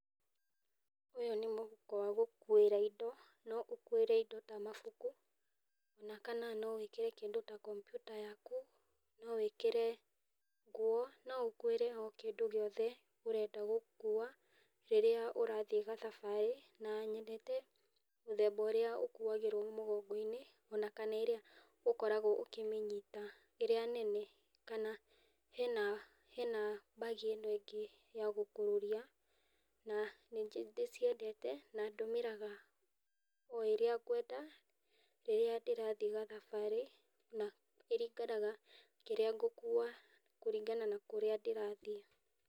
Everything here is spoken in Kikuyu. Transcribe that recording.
Uyu nĩ mũhuko wa gũkũira indo no ũkuĩre indo ta mabũku ona kana no wĩkĩre kĩndũ ta kompũta yaku no wĩkĩre ngũo no ũkũire kĩndũ oo gĩothe ũrenda gũkua rĩrĩa urathi gathabarĩ, na nyendete mũthemba ũrĩa ũkuagĩrwo mũgongoinĩ ona kana ĩrĩa ukoragwo ũkĩmĩnyita, ĩrĩa nene kana hena bagi ĩno ĩngi ya gũkũrũria na nĩndĩciendete na ndũmĩraga o ĩrĩa ngwenda rĩrĩa ndĩrathi gathabarĩ na ĩringanaga kĩrĩa ngũkua kũringana na kúrĩa ndĩrathi.